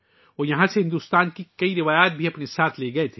وہ یہاں سے بھارت کی بہت سی روایات بھی اپنے ساتھ لے گئے